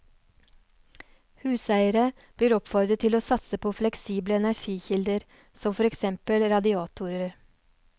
Huseiere blir oppfordret til å satse på fleksible energikilder som for eksempel radiatorer.